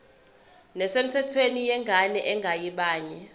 nesemthethweni yengane engeyabanye